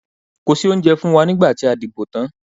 Kò sí oúnjẹ fún wa nígbà tí a dìbò tán.